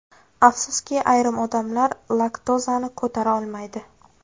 Afsuski, ayrim odamlar laktozani ko‘tara olmaydi.